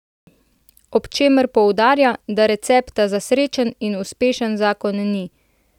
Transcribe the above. Ob čemer poudarja, da recepta za srečen in uspešen zakon ni.